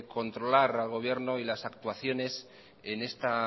controlar al gobierno y las actuaciones en esta